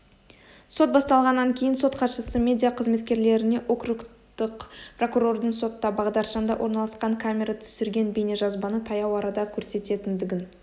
сот басталғаннан кейін сот хатшысы медиа қызметкерлеріне округтық прокурордың сотта бағдаршамда орналасқан камера түсірген бейнежазбаны таяу арада көрсететіндігін